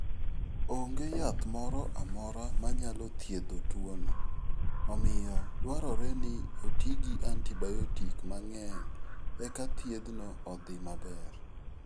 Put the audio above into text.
Onge yath moro amora manyalo thiedho tuwono; omiyo, dwarore ni oti gi antibayotik mang'eny eka thiethno odhi maber.